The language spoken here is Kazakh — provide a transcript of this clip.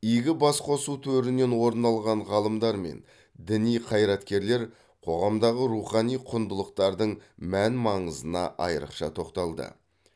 игі басқосу төрінен орын алған ғалымдар мен діни қайраткерлер қоғамдағы рухани құндылықтардың мән маңызына айрықша тоқталды